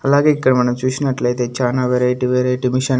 అలాగే ఇక్కడ మనం చూసినట్లయితే చానా వెరైటీ వెరైటీ మిషన్ --